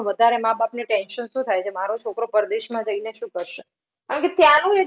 વધારે માબાપને tension શું થાય છે? મારો છોકરો પરદેશમાં જઈને શું કરશે? કારણ કે ત્યાનું